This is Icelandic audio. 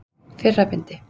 Fyrra bindi.